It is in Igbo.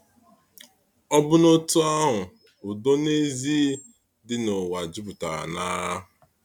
Ọ̀bụ́na otú ahụ, udo n'ezie dị n’ụwa a jupụtara n’agha.